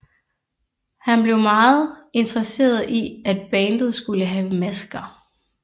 Han blev meget interesseret i at bandet skulle have masker